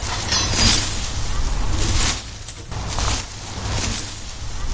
не хочет